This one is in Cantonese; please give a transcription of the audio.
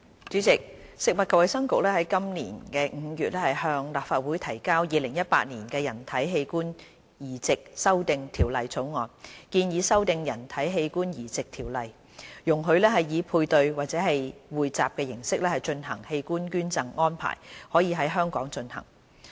主席，食物及衞生局於今年5月向立法會提交《2018年人體器官移植條例草案》，建議修訂《人體器官移植條例》，容許以配對或匯集形式進行的器官捐贈安排在香港進行。